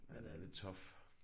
Ja det er lidt tough